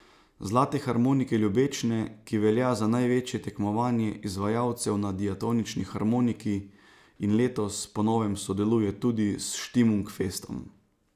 Zlate harmonike Ljubečne, ki velja za največje tekmovanje izvajalcev na diatonični harmoniki in letos po novem sodeluje tudi s Štimung festom.